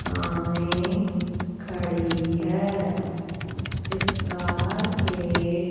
सामने खड़ी है इस कार के--